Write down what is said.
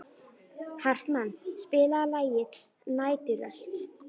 Hartmann, spilaðu lagið „Næturrölt“.